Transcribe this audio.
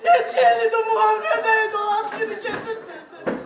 Neçə ildir müharibədə idi, o ad günü keçirtmirdi.